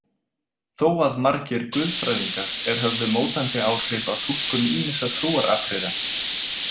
Þó að margir guðfræðingar er höfðu mótandi áhrif á túlkun ýmissa trúaratriða.